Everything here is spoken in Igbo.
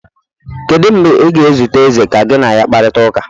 Kedu mgbe ị ga-ezute eze ka gị na ya kparịta ụka?